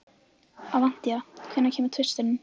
Avantí, hvenær kemur tvisturinn?